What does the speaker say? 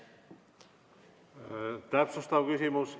Täpsustav küsimus.